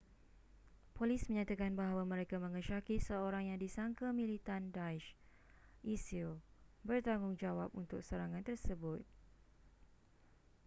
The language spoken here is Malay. polis menyatakan bahawa mereka mengesyaki seorang yang disangka militan daesh isil bertanggungjawab untuk serangan tersebut